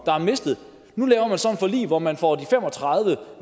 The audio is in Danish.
der er mistet nu laver man så et forlig hvor man får de fem og tredive